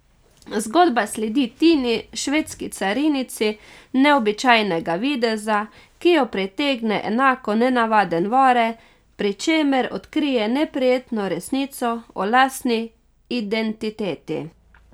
Zgodba sledi Tini, švedski carinici neobičajnega videza, ki jo pritegne enako nenavaden Vore, pri čemer odkrije neprijetno resnico o lastni identiteti.